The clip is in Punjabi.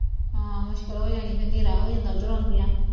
ਹਾਂ ਮੁਸ਼ਕਿਲ ਹੋ ਜਾਂਣੀ ਫਿਰ ਹਨੇਰਾ ਹੋ ਜਾਂਦਾ ਉਧਰੋਂ ਆਉਦਿਆਂ